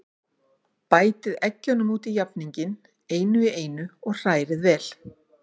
Bætið eggjunum út í jafninginn, einu í einu, og hrærið vel.